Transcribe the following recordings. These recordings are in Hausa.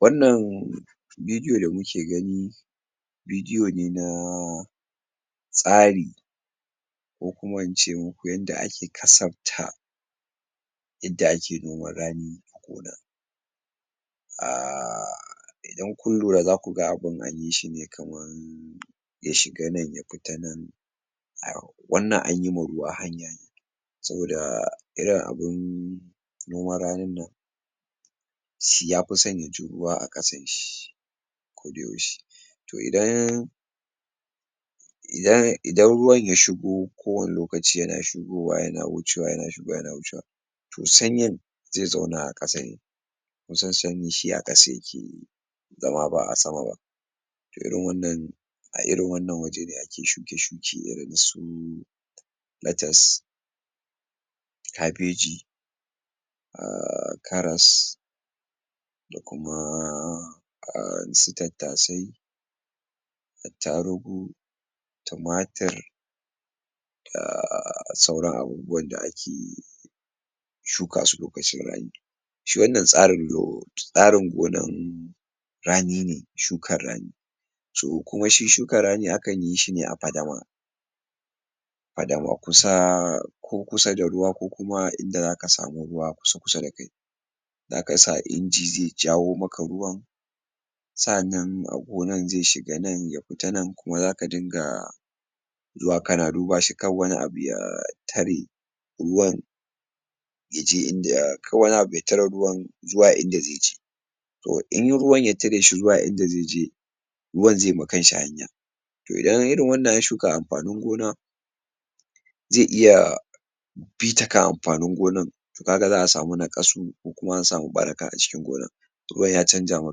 Wannan vidiyo da muke gani vidiyo ne na tsari ko kuma ince muku yanda ake kasafta yadda ake noman rani aaaa idan kun lura zaku ga abun anyi shi ne kaman ya shiga nan ya fita nan wannan anyi a hanya ne saboda irin abun noman ranin nan shi yafi sanya tururuwa a ƙasan shi koda yaushe toh idan idan idan ruwan ya shigo ko wane lokaci yana shigowa yana wucewa yana ruwa yana wucewa toh sanyin zai zauna a ƙasa ne kun san sanyi shi a ƙasa yake yi zama, ba'a sama ba irin wannan a irin wannan waje ne ake shuke-shuke irin su latas kabeji um karas da kumaaa um su tattasai attarugu tumatir um sauran abubuwan da akeyi shuka su lokacin rani shi wannan tsarin tsarin gonan rani ne, shukan rani toh kuma shi shukan rani akan yi shi ne a fadama fadama, kusa ko kusa da ruwa ko kuma inda zaka samu ruwa kusa-kusa da kai zaka sa inji zai jawo maka ruwan sa'annan a gonan zai shiga nan ya fita nan kuma zaka dunga zuwa kana duba shi kar wani abu ya tare ruwan yaje inda kar wani abu ya tare ruwan zuwa inda zai je toh in ruwan ya tare shi zuwa inda zai je ruwan zai ma kanshi hanya toh idan irin wannan an shuka amfanin gona zai iya bi ta kan amfanin gonan kaga za'a samu naƙasu ko kuma an samu ɓaraka acikin gonan ruwan ya canja ma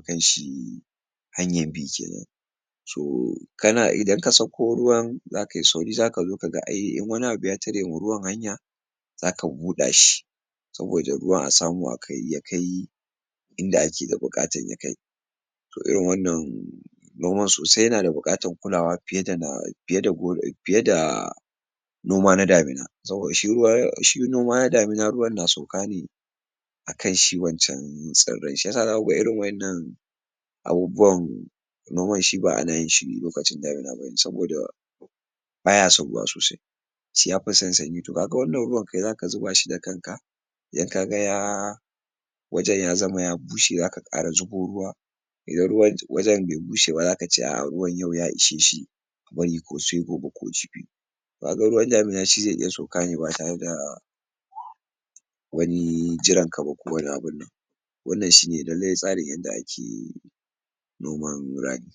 kanshi hanyan bi kenan tohh kana idan ka sakko ruwan za kai sauri zaka zo kaga ai in wani abu ya tare ma ruwan hanya zaka buɗa shi saboda ruwan a samu akai ya kai inda ake ga buƙatan ya kai toh irin wannan noman sosai yana da buƙatan kulawa fiye da fiye da fiye da noma na damina saboda shi ruwa shi noma na damina ruwan na sauka ne akan shi wancan tsirrai, shiyasa zaku ga irin wa'innan abubuwan noman shi ba ana yin shi lokacin damina bane saboda baya son ruwa sosai shi yafi san sanyi, toh kaga wannan ruwan kai zaka zuba shi da kanka kaga ya wajen ya zama ya bushe zaka ƙara zubo ruwa idan ruwan wajen bai bushe ba zaka ce a'a yau ruwan ya ishe shi wuni ko sai gobe ko jibi kaga ruwan damina shi zai iya sauka ne ba tare da wani jiran ka ba ko wani abun wannan shi ne lallai tsarin yanda ake noman rani